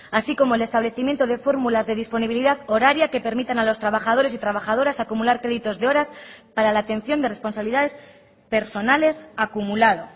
así como el establecimiento de fórmulas de disponibilidad horaria que permitan a los trabajadores y trabajadoras acumular créditos de horas para la atención de responsabilidades personales acumulado